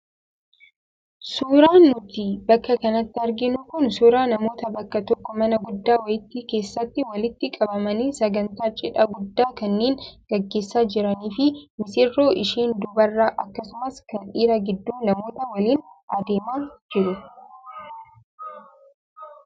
Suuraan nuti bakka kanatti arginu kun suuraa namoota bakka tokko mana guddaa wayii keessatti walitti qabamanii sagantaa cidhaa guddaa kanneen gaggeessaa jiranii fi misirroo isheen dubaraa akkasumas kan dhiiraa gidduu namootaa waliin adeemaa jiru.